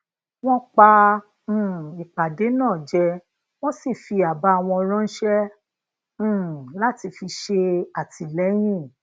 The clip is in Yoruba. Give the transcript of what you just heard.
wọn pa um ìpàdé náà je wọn sì fi aba won ránṣẹ um láti fi ṣè àtìlẹyìn